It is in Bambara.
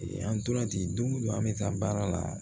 An tora ten don o don an bɛ taa baara la